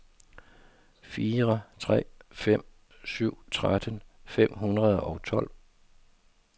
fire tre fem syv tretten fem hundrede og tolv